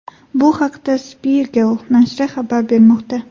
Bu haqda Spiegel nashri xabar bermoqda .